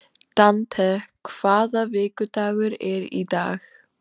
Dante, hvaða vikudagur er í dag?